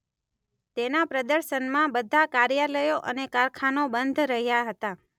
તેના પ્રદર્શનમાં બધા કાર્યાલયો અને કારખાનાઓ બંધ રહ્યાં હતાં.